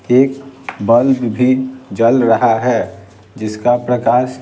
एक बल्ब जल रहा है जिसका प्रकाश --